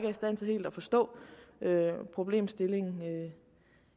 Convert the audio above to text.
i stand til helt at forstå problemstillingen